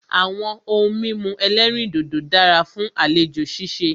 Àwọn ohun mímu ẹ̀lẹ́rìndodò dára fún àlejò ṣíṣe.